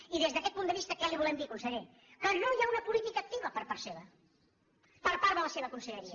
i des d’aquest punt de vista què li volem dir conseller que no hi ha una política activa per part seva per part de la seva conselleria